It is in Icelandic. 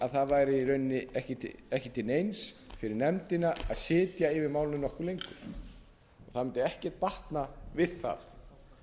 að það væri í rauninni ekki til neins fyrir nefndina að segja yfir málinu nokkuð lengur það mundi ekkert batna við það